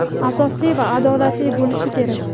asosli va adolatli bo‘lishi kerak.